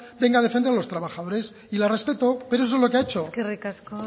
venga a defender a los trabajadores y la respeto pero eso es lo que ha hecho eskerrik asko